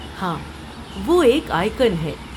ہاں، وہ ایک آئیکن ہے۔